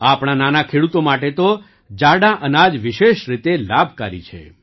આપણા નાના ખેડૂતો માટે તો જાડાં અનાજ વિશેષ રીતે લાભકારી છે